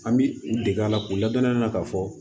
An bi u dege a la k'u ladon ne la ka fɔ